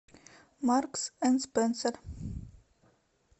маркс энд спенсер